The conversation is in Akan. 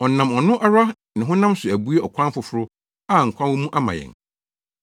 Ɔnam ɔno ara ne honam so abue ɔkwan foforo a nkwa wɔ mu ama yɛn.